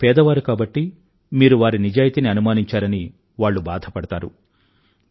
వాళ్ళు పేదవారు కాబట్టి మీరు వారి నిజాయితీని అనుమానించారని వాళ్లు బాధపడతారు